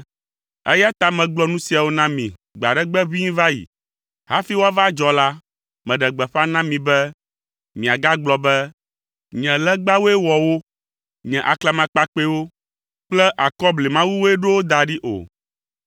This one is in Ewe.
eya ta megblɔ nu siawo na mi gbe aɖe gbe ʋĩi va yi. Hafi woava adzɔ la, meɖe gbeƒã na mi be miagagblɔ be, ‘Nye legbawoe wɔ wo. Nye aklamakpakpɛwo kple akɔblimawue ɖo wo da ɖi,’ o.